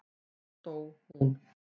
Þar dó hún.